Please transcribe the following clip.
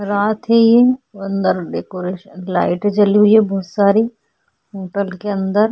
रात है ये अंदर डेकोरेशन लाइट जली हुई है बहोत सारी होटल के अंदर --